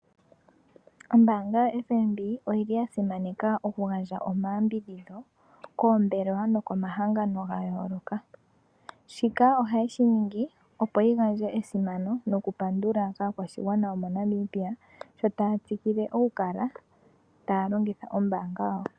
Ombaanga yoFNB oyili ya simaneka oku gandja omayambidhidho koombelewa no komahangano ga yooloka. Shika oha yeshi ningi opo yi gandje esimano noku pandula aakwashigwana yo moNamibia sho taya tsikile oku kala taya longitha ombaanga.